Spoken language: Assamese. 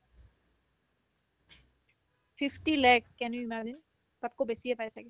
sixty lakh can you imagine তাতকৈ বেছিয়ে পাই ছাগে